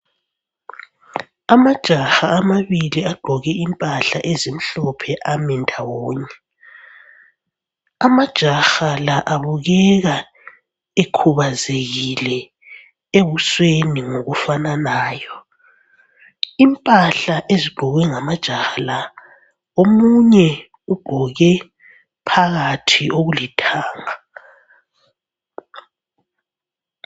Amajaha amabili agqoke impahla ezimhlophe ame ndawonye. Amajaha la abukeka ekhubazekile ebusweni ngokufananayo. Impahla ezigqokwe ngamajaha la, omunye ugqoke phakathi okulithanga.